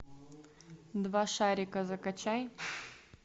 два шарика закачай